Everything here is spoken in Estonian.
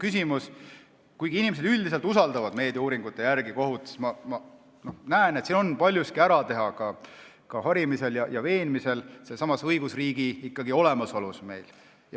Meediauuringute põhjal otsustades inimesed üldiselt usaldavad kohut, aga ma näen, et palju on vaja ära teha ka harimisega ja veenda inimesi sellesama õigusriigi olemasolus.